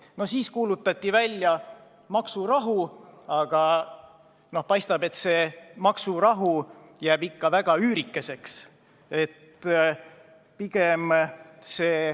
Pärast seda kuulutati välja maksurahu, aga paistab, et see maksurahu jääb ikka väga üürikeseks.